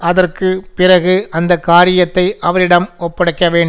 அதற்கு பிறகு அந்த காரியத்தை அவரிடம் ஒப்படைக்க வேண்டும்